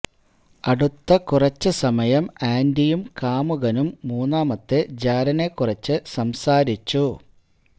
അടുത്ത കുറച്ചേ സമയം ആന്റിയും കാമുകനും മൂന്നാമത്തെ ജാരനെ കുറച്ചേ സംസാരിച്ചു